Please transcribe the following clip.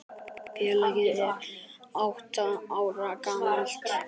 Félagið er átta ára gamalt.